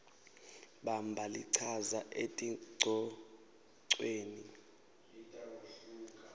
bamba lichaza etingcocweni